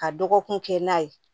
Ka dɔgɔkun kɛ n'a ye